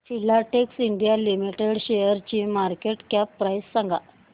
Filatex India limited शेअरची market cap price सांगा